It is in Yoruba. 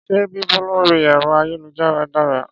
Ṣé bíbú lórí ẹ̀rọ ayélujára dára?